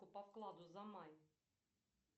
по вкладу за май